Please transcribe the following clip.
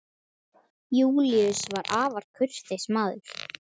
Júlíus var afar kurteis maður.